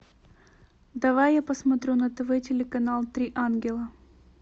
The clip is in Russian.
давай я посмотрю на тв телеканал три ангела